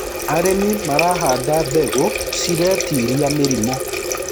arĩmi marahanda mbegũ ciretĩĩria mĩrimũ